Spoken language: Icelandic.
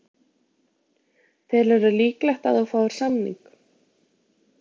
Telur þú líklegt að þú fáir samning?